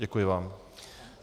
Děkuji vám.